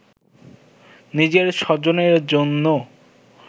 নিজের স্বজনের জন্য